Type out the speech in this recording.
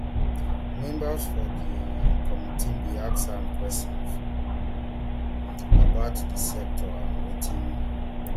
members for di um committee bin ask am questions about di sector and wetin